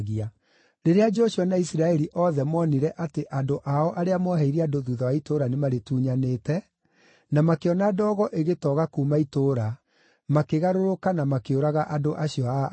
Rĩrĩa Joshua na Isiraeli othe moonire atĩ andũ ao arĩa mooheirie andũ thuutha wa itũũra nĩmarĩtunyanĩte, na makĩona ndogo ĩgĩtoga kuuma itũũra, makĩgarũrũka na makĩũraga andũ acio a Ai.